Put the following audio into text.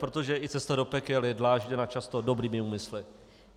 Protože i cesta do pekel je dlážděna často dobrými úmysly.